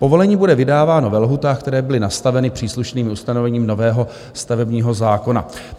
Povolení bude vydáváno ve lhůtách, které byly nastaveny příslušným ustanovením nového stavebního zákona."